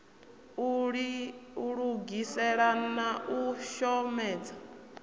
u lugisela na u shomedza